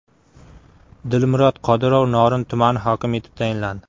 Dilmurod Qodirov Norin tumani hokimi etib tayinlandi.